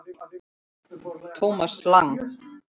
Thomas Lang